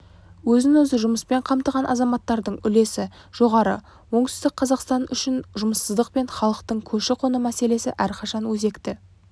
өзін-өзі жұмыспен қамтыған азаматтардың үлесі жоғары оңтүстік қазақстан үшін жұмыссыздық пен халықтың көші-қон мәселесі әрқашан өзекті